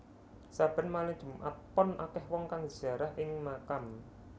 Saben malem Jumat Pon akeh wong kang ziarah ing makam